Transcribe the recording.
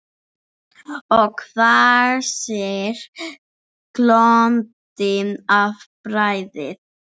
Og hvæsir, glóandi af bræði.